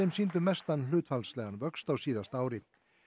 sýndu mestan hlutfallslegan vöxt á síðasta ári